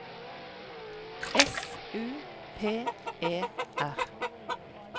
S U P E R